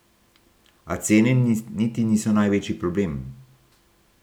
A cene niti niso največji problem.